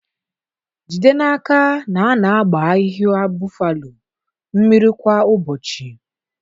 Jide n'aka na a na-agba ahịhịa boffalo mmiri kwa ụbọchị.